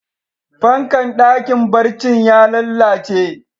Fankan dakin barcin ya lallace.